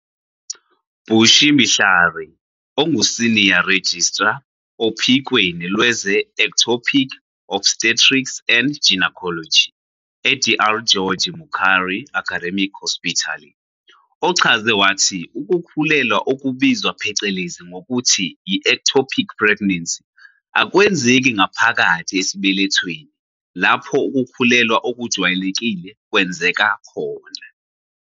Bushy Mhlari, onguSenior Registrar ophikweni lwezeEctopic Obstetrics and Gynaecology e-Dr George Mukhari Academic Hospital, ochaze wathi ukukhulelwa okubizwa phecelezi ngokuthi yi-ectopic pregnancy akwenzeki ngaphakathi esibelethweni, lapho ukukhulelwa okujwayelekile kwenzeka khona.